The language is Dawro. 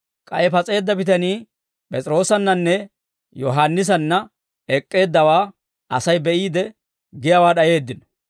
K'ay pas'eedda bitanii P'es'iroossannanne Yohaannisanna ek'k'eeddawaa Asay be'iide, giyaawaa d'ayeeddino.